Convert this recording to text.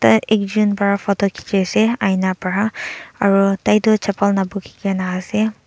ah ekjun bra photo kheje ase aina bra aro taitu chapel nabukhe kena aha ase.